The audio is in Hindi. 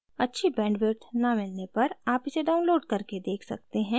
अच्छी bandwidth न मिलने पर आप इसे download करके देख सकते हैं